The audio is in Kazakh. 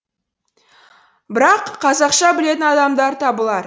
бірақ қазақша білетін адамдар табылар